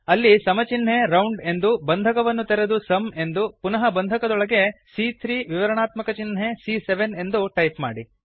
ಅಲ್ಲಿ ಸಮ ಚಿನ್ಹೆ ರೌಂಡ್ ಎಂದೂ ಬಂಧಕವನ್ನು ತೆರೆದು ಸುಮ್ ಎಂದೂ ಪುನಃ ಬಂಧಕದೊಳಗೆ ಸಿಎ3 ವಿವರಾಣಾತ್ಮಕ ಚಿನ್ಹೆ ಸಿಎ7 ಎಂದೂ ಟೈಪ್ ಮಾಡಿ